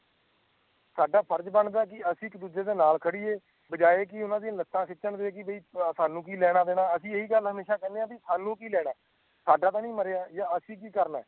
ਸਾਡਾ ਫਰਜ਼ ਬਣਦਾ ਕਿ ਅਸੀਂ ਇੱਕ ਦੂਜੇ ਦੇ ਨਾਲ ਖੜੀਏ ਬਜਾਏ ਕਿ ਲੱਤਾਂ ਖਿੱਚਣ ਲਈ ਕਿ ਸਾਨੂੰ ਕਿ ਲੈਣਾ ਦੇਣਾ ਅਸੀਂ ਇਹ ਗੱਲ ਹਮੇਸ਼ਾ ਕਿਨ੍ਹੇ ਸਾਨੂੰ ਕਿ ਲੈਣਾ ਸਾਡਾ ਤਾ ਨਹੀਂ ਮਰਿਆ ਯਾ ਅਸੀਂ ਕਿ ਕਰਨਾ